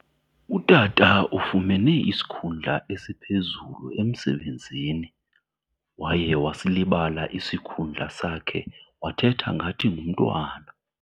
Utata ufumene isikhundla esiphezulu emsebenzi. Waye wasilibala isikhundla sakhe wathetha ngathi ngumntwana.